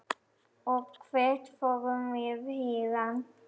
Og hvert förum við héðan?